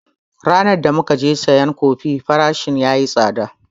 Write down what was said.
Ranan da mukaje sayan kofi farashin yayi tsada sosai